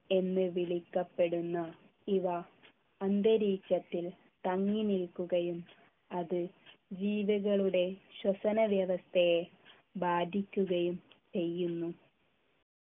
എന്ന് വിളിക്കപ്പെടുന്ന ഇവ അന്തരീക്ഷത്തിൽ തങ്ങിനിൽക്കുകയും അത് ജീവികളുടെ ശ്വസന വ്യവസ്ഥയെ ബാധിക്കുകയും ചെയ്യുന്നു